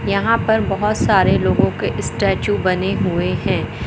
यहां पर बहोत सारे लोगों के स्टैचू बने हुए हैं।